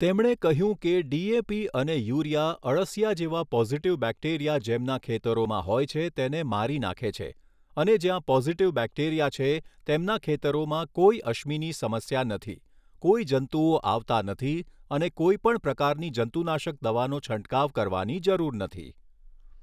તેમણે કહ્યું કે ડીએપી અને યુરિયા અળસિયા જેવા પોઝિટીવ બેક્ટેરિયા જેમના ખેતરોમાં હોય છે તેને મારી નાખે છે અને જ્યાં પોઝિટિવ બેક્ટેરિયા છે, તેમના ખેતરોમાં કોઈ અશ્મિની સમસ્યા નથી, કોઈ જંતુઓ આવતા નથી અને કોઈપણ પ્રકારની જંતુનાશક દવાનો છંટકાવ કરવાની જરૂર નથી.